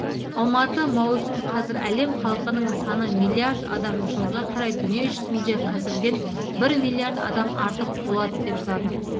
алматы маусым қазір әлем халқының саны миллиард адам жылға қарай дүние жүзінде қазіргіден бір миллиард адам артық болады деп жазады